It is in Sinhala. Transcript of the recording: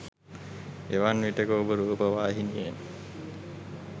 එවන් විටෙක ඔබ රූපවාහිනියෙන්